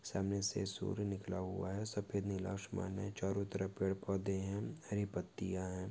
सामने से सूर्य निकला हुआ है सफेद नीला आसमान है चारो तरफ पेड़ पौधे है हरी पत्तिया है।